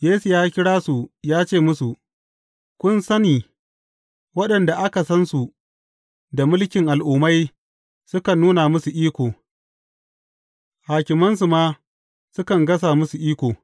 Yesu ya kira su ya ce musu, Kun sani waɗanda aka san su da mulkin al’ummai sukan nuna musu iko, hakimansu ma sukan gasa musu iko.